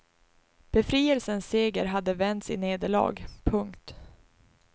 Befrielsens seger hade vänts i nederlag. punkt